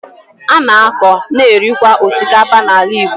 A na-akọ, na-erikwa osikapa n’ala Igbo